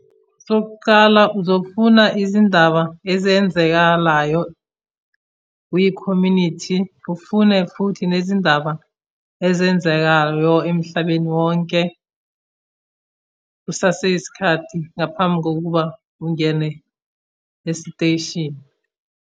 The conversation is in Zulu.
Sokuqala uzofuna izindaba ezenzekalayo kwikhomunithi. Ufune futhi nezindaba ezenzekayo emhlabeni wonke kusaseyisikhathi ngaphambi kokuba ungene esiteshini.